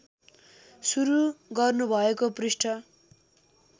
सुरु गर्नुभएको पृष्ठ